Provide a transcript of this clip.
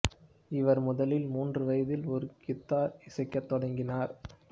இவர் முதலில் மூன்று வயதில் ஒரு கித்தார் இசைக்கத் தொடங்கினார்